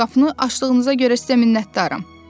Qapını açdığınıza görə sizə minnətdaram.